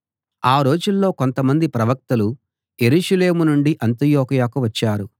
ఆ రోజుల్లో కొంతమంది ప్రవక్తలు యెరూషలేము నుండి అంతియొకయ వచ్చారు